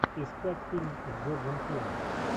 искать фильм с джорджем клуни